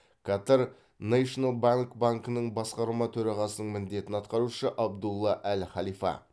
басқарма төрағасының міндетін атқарушы абдулла әл халифа